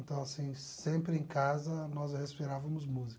Então, assim, sempre em casa nós respirávamos música.